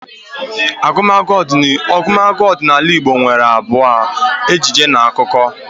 Agumagu ọdịnala Igbo nwere abụ, ejije na akụkọ